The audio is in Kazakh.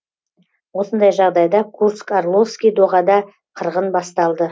осындай жағдайда курск орловский доғада қырғын басталды